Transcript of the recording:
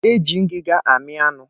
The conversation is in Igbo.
E ji ngiga ami anụ.